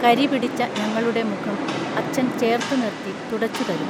കരി പിടിച്ച ഞങ്ങളുടെ മുഖം അച്ഛൻ ചേർത്ത് നിർത്തി തുടച്ചുതരും